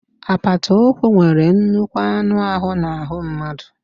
Apata ụkwụ nwere nnukwu anụ ahụ n'ahụ mmadụ